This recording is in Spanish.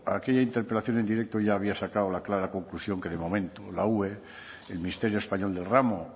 a aquella interpelación en directo ya habría sacado la clara conclusión que de momento la ue el ministerio español del ramo